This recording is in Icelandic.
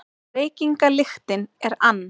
Reykingalyktin er ann